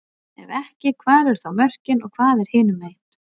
Ef ekki, hvar eru þá mörkin og hvað er hinumegin?